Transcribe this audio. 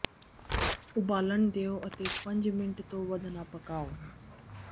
ਉਬਾਲਣ ਦਿਓ ਅਤੇ ਪੰਜ ਮਿੰਟ ਤੋਂ ਵੱਧ ਨਾ ਪਕਾਉ